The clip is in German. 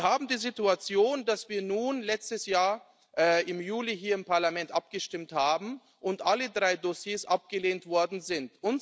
Wir haben die Situation, dass wir nun letztes Jahr im Juli hier im Parlament abgestimmt haben und alle drei Dossiers abgelehnt worden sind.